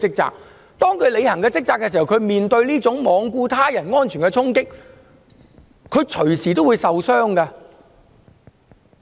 但是，當他們履行職責時，便要面對這種罔顧他人安全的衝擊，他們隨時也會受傷。